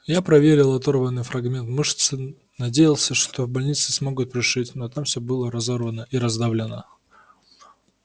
я проверил оторванный фрагмент мышцы надеялся что в больнице смогут пришить но там всё было разорвано и раздавлено